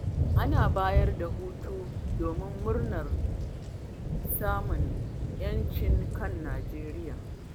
Ana bayar da hutu, domin murnar samun 'yancin kan Nijeriya.